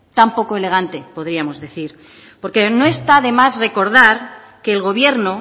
tan poco elegante podríamos decir porque no está de más recordar que el gobierno